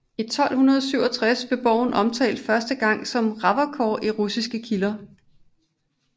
I 1267 blev borgen omtalt første gang som Rakovor i russiske kilder